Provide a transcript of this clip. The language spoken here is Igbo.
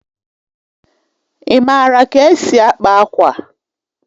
Ị maara ka e si akpa akwa?